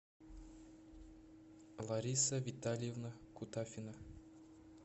лариса витальевна кутафина